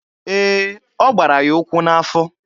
Ee, ọ gbara ya ụkwụ n'afọ.